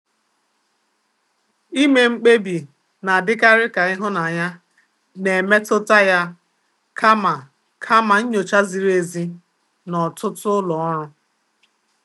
Ime mkpebi na-adịkarị ka ịhụnanya na-emetụta ya kama kama nyocha ziri ezi n'ọtụtụ ụlọ ọrụ.